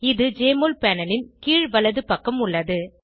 இது JMOL panel ன் கீழ் வலது பக்கம் உள்ளது